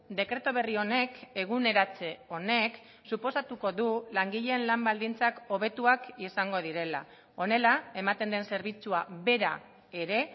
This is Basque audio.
dekretu berri honek eguneratze honek suposatuko du langileen lan baldintzak hobetuak izango direla honela ematen den zerbitzua bera ere